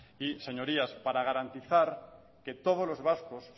y señorías para garantizar que todos los vascos